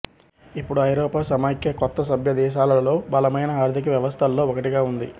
ఇప్పుడు ఐరోపా సమాఖ్య కొత్త సభ్య దేశాలలో బలమైన ఆర్థిక వ్యవస్థల్లో ఒకటిగా ఉంది